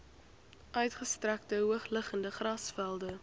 uitgestrekte hoogliggende grasvelde